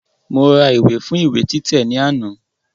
Mo ra ìwé fún ìwé títẹ̀ ní àná